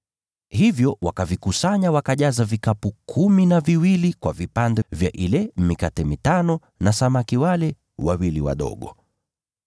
Hivyo wakavikusanya, wakajaza vikapu kumi na viwili kwa vipande vya ile mikate mitano ya shayiri na samaki wale wawili wadogo vilivyobakishwa na waliokula.